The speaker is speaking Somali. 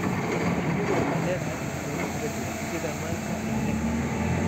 Shinnidu waxay leedahay cuntooyin kala duwan, sida manka iyo nectar.